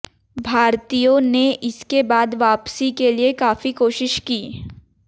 भारतीयों ने इसके बाद वापसी के लिये काफी कोशिश की